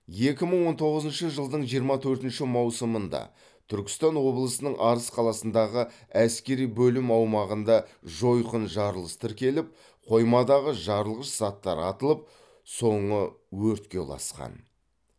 екі мың он тоғызыншы жылдың жиырма төртінші маусымында түркістан облысының арыс қаласындағы әскери бөлім аумағында жойқын жарылыс тіркеліп қоймадағы жарылғыш заттар атылып соңы өртке ұласқан